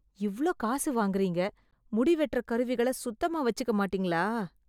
இவ்ளோ காசு வாங்குறீங்க, முடி வெட்டற கருவிகள சுத்தமா வச்சுக்க மாட்டீங்களா?